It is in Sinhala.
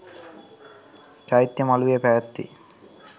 චෛත්‍ය මලුවේ පැවැත්වේ.